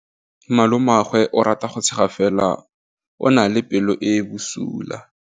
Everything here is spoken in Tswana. Malomagwe o rata go tshega fela o na le pelo e e bosula.